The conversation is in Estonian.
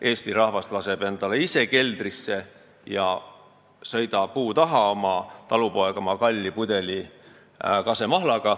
Eesti rahvas laseb selle mahla ise endale keldrisse – sõida puu taha, talupoeg, oma kalli kasemahlapudeliga.